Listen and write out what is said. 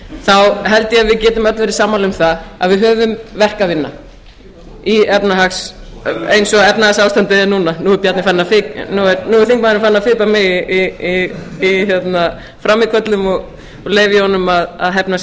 þá held ég að við getum öll verið sammála um það að við höfum verk að vinna eins og efnahagsástandið er núna nú er þingmaðurinn farinn að fipa mig í frammíköllum og leyfi ég honum að hefna